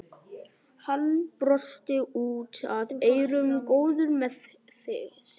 Hann brosti út að eyrum, góður með sig.